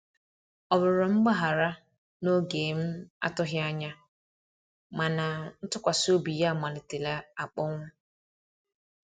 Ọ rụrọ mgbahara na oge m atughi anya, mana ntụkwasi obi ya malitere akponwụ